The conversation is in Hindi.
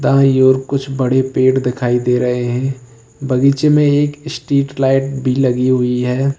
बाई ओर कुछ बड़े पेड़ दिखाई दे रहे हैं बगीचे में एक स्ट्रीट लाइट भी लगी हुई है।